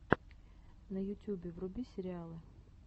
на ютюбе вруби сериалы